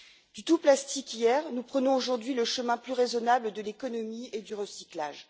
Du tout plastique hier, nous prenons aujourd'hui le chemin plus raisonnable de l'économie et du recyclage.